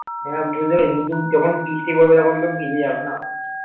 হ্যাঁ বুঝতে পেরেছি কিন্তু যখন বৃষ্টি পরবে তখন তো ভিজে যাবে না?